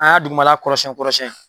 An y'a dugumala kɔrɔsiyɛn kɔrɔsiyɛn.